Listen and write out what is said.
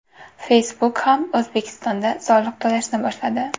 Facebook ham O‘zbekistonda soliq to‘lashni boshladi.